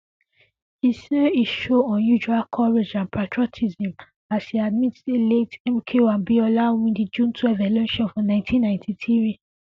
e say e show unusual courage and patriotism as e admit say late mko abiola win di june twelve election for ninety ninety three